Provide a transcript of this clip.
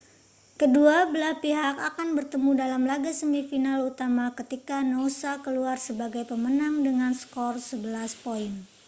kedua belah pihak akan bertemu dalam laga semifinal utama ketika noosa keluar sebagai pemenang dengan skor 11 poin